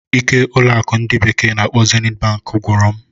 ike ụlọ akụ ndi bekee na-akpo Zenit Bank gwụrụ m.